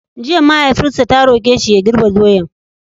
Jiya mahaifinsa ta roƙe shi ya girbe doyar!